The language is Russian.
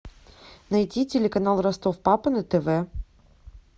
найди телеканал ростов папа на тв